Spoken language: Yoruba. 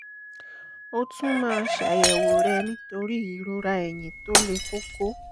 ó tún máa ṣàyẹ̀wò rẹ nítorí ìrora ẹ̀yìn tó le koko